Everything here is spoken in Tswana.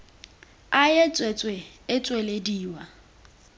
a e tswetswe e tswelediwa